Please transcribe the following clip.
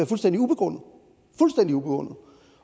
fuldstændig ubegrundet